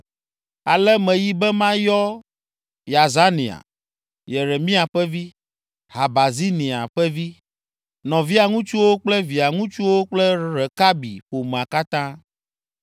Ale meyi be mayɔ Yazania, Yeremia ƒe vi, Habazinia ƒe vi, nɔvia ŋutsuwo kple via ŋutsuwo kple Rekabi ƒomea katã.